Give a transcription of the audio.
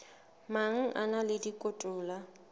mang a na le dikotola